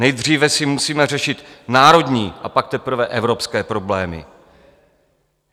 Nejdříve si musíme řešit národní, a pak teprve evropské problémy.